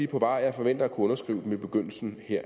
på vej og jeg forventer at kunne underskrive dem her i begyndelsen